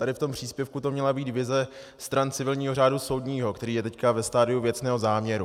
Tady v tom příspěvku to měla být vize stran civilního řádu soudního, který je teď ve stadiu věcného záměru.